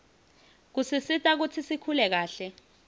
kusisita kutsi sikhule kahle